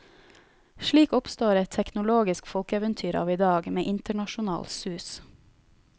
Slik oppstår et teknologisk folkeeventyr av i dag, med internasjonal sus.